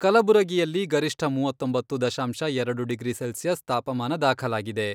ಕಲಬುರಗಿಯಲ್ಲಿ ಗರಿಷ್ಠ ಮೂವತ್ತೊಂಬತ್ತು ದಶಾಂಶ ಎರಡು ಡಿಗ್ರಿ ಸೆಲ್ಸಿಯಸ್ ತಾಪಮಾನ ದಾಖಲಾಗಿದೆ.